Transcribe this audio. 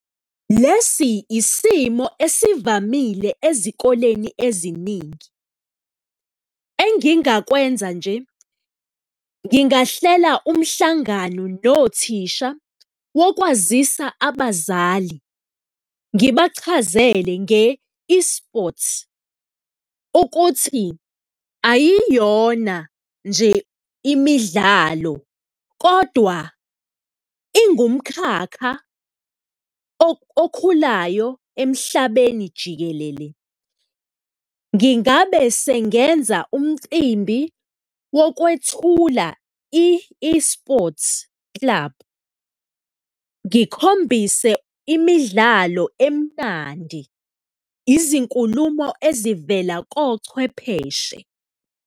Lesi isimo esivamile ezikoleni eziningi. Engingakwenza nje, ngingahlela umhlangano nothisha wokwazisa abazali, ngibachazele nge-esports ukuthi ayiyona nje imidlalo kodwa ingumkhakha okhulayo emhlabeni jikelele. Ngingabe sengenza umcimbi wokwethula i-esports club, ngikhombise imidlalo emnandi, izinkulumo ezivela kochwepheshe.